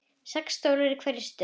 Sex stólar í hverri röð.